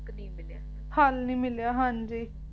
ਫਲ ਨੀ ਮਿਲਿਆ ਹਾਂਜੀ